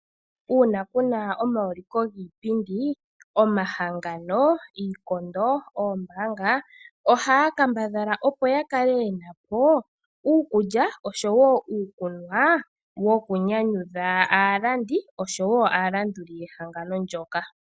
Uuna ku na omauliko giipindi omahangano, iikondo noombaanga ohaya kambadhala opo ya kale ye na po uukulya osho wo uukunwa wokunyanyudha aalandi osho wo aalanduli yehangano ndyoka.